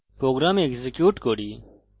program execute করা যাক